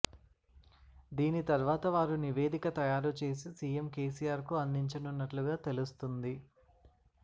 దీని తర్వాత వారు నివేదిక తయారు చేసి సీఎం కేసీఆర్ కు అందించనున్నట్లుగా తెలుస్తుంది